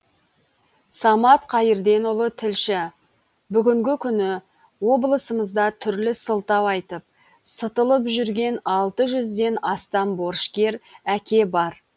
самат қайырденұлы тілші бүгінгі күні облысымызда түрлі сылтау айтып сытылып жүрген алты жүзден астам борышкер әке бар